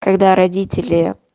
когда родители